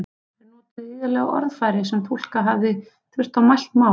Þeir notuðu iðulega orðfæri sem túlka hefði þurft á mælt mál.